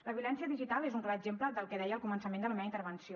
la violència digital és un clar exemple del que deia al començament de la meva intervenció